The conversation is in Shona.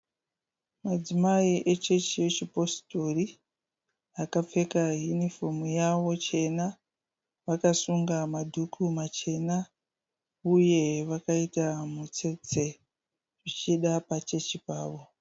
Madzimai echechi yechipositori akapfeka hunifomu yavo chena. Vakasunga madhuku machena. Uye vakaita mutsetse. Zvichida pachechi pavo.